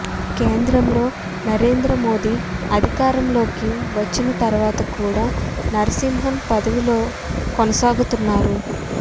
కేంద్రంలో నరేంద్ర మోదీ అధికారంలోకి వచ్చిన తర్వాత కూడా నరసింహన్ పదవిలో కొనసాగుతున్నారు